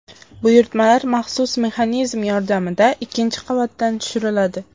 Buyurtmalar maxsus mexanizm yordamida ikkinchi qavatdan tushiriladi.